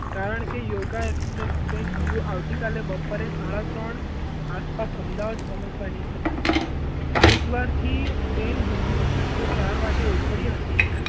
કારણકે yoga express train હજી આવતીકાલે બપોરે સાડા ત્રણ આસપાસ અમદાવાદ પહોંચવાની જ હતી હરિદ્વાર થી હજી train સાંજે ચાર વાગે ઉપડી હતી.